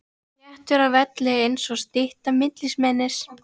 Þéttur á velli einsog stytta mikilmennis.